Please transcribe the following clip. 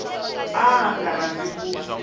a a nga rhandzi ku